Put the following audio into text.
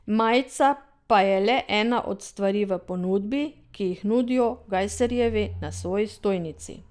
Majica pa je le ena od stvari v ponudbi, ki jih nudijo Gajserjevi na svoji stojnici.